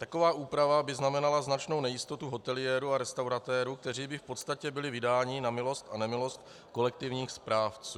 Taková úprava by znamenala značnou nejistotu hoteliérů a restauratérů, kteří by v podstatě byli vydáni na milost a nemilost kolektivních správců.